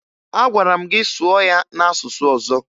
Agwara m gị sụọ ya n'asụsụ ọzọ!